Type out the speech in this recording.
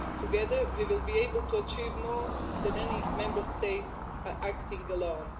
Together, we will be able to achieve more than any Member State acting alone.